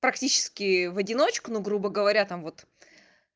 практически в одиночку ну грубо говоря там вот